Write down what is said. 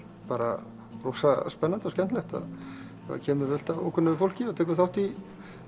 bara rosa spennandi og skemmtilegt það kemur fullt af ókunnugu fólki og tekur þátt í